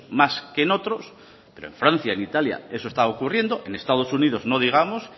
más que en otros pero en francia y en italia eso está ocurriendo en estados unidos no digamos